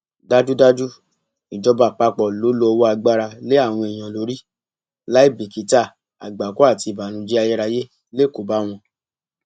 dájúdájú ìjọba àpapọ ló lo ọwọ agbára lé àwọn èèyàn lórí láìbìkítà àgbákò àti ìbànújẹ ayérayé lè kó bá wọn